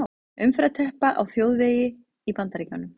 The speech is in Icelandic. Umferðarteppa á þjóðvegi í Bandaríkjunum.